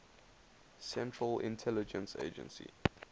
central intelligence agency